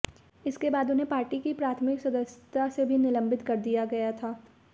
इसके बाद उन्हें पार्टी की प्राथमिक सदस्यता से भी निलंबित कर दिया गया था